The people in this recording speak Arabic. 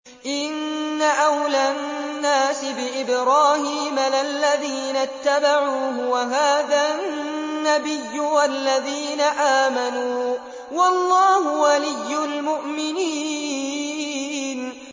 إِنَّ أَوْلَى النَّاسِ بِإِبْرَاهِيمَ لَلَّذِينَ اتَّبَعُوهُ وَهَٰذَا النَّبِيُّ وَالَّذِينَ آمَنُوا ۗ وَاللَّهُ وَلِيُّ الْمُؤْمِنِينَ